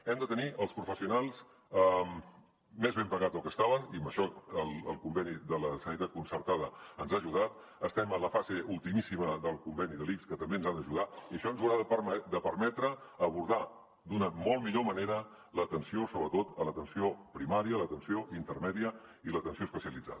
hem de tenir els professionals més ben pagats del que ho estaven i en això el conveni de la sanitat concertada ens ha ajudat estem en la fase ultimíssima del conveni de l’ics que també ens ha d’ajudar i això ens haurà de permetre abordar d’una molt millor manera l’atenció sobretot a l’atenció primària l’atenció intermèdia i l’atenció especialitzada